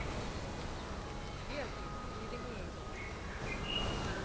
верке еремеевой